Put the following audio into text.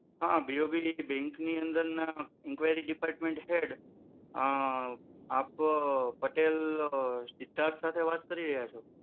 હા BOB બૅંકની અંદરના inquiry department head અ આપ પટેલ સિદ્ધાર્થ સાથે વાત કરી રહ્યા છો.